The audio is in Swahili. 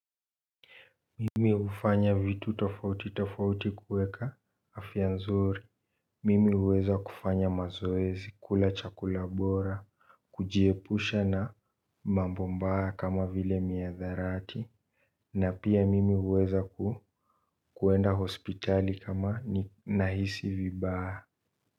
Mimi ufanya vitu tofauti tofauti kueka afianzuri. Mimi uweza kufanya mazoezi kula chakula bora. Kujiepusha na mambo mbaya kama vile miadharati. Na pia mimi uweza kuenda hospitali kama nahisi vibaya.